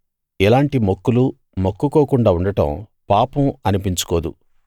ఎలాంటి మొక్కులు మొక్కుకోకుండా ఉండడం పాపం అనిపించుకోదు